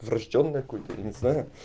врождённое какое-то я не знаю